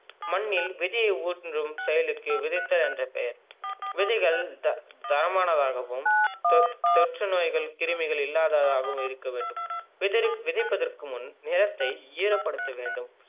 மண்ணில் விதையை ஊன்றும் செயலுக்கு விதைத்தல் என்று பெயர். விதைகள் தர~தரமானதாகவும் தொட்~தொற்றுநோய்கள் கிருமிகள் இல்லாததாகவும் இருக்க வேண்டும். விதை விதைப்பதற்கு முன் நிலத்தை ஈரபடுத்த வேண்டும்.